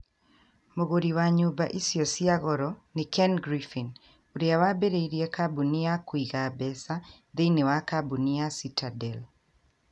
Mũgũri wa nyũmba icio cia goro nĩ Ken Griffin, ũrĩa waambĩrĩirie kambuni ya kũiga mbeca thĩinĩ wa kambuni ya Citadel